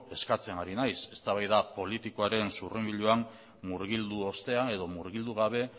eskatzen ari naiz eztabaida politikoaren murgildu ostean edo murgildu gabe